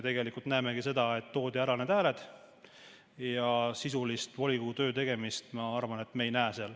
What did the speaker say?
Me näemegi seda, et toodi ära need hääled, aga sisulist volikogu töö tegemist, ma arvan, me seal ei näe.